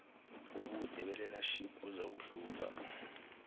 ubude belearnership buzakuhluka